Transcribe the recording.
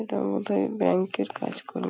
এটা বোধ হয় ব্যাঙ্ক -এর কাজ করে।